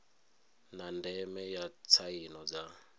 na ndeme ya tsaino dza